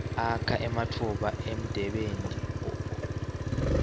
akha ematfuba emdebenti